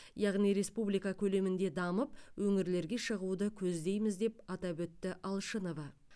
яғни республика көлемінде дамып өңірлерге шығуды көздейміз деп атап өтті алшынова